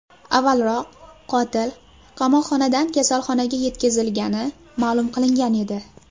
Avvalroq qotil qamoqxonadan kasalxonaga yetkazilgani ma’lum qilingan edi .